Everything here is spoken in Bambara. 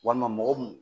Walima mɔgɔ mun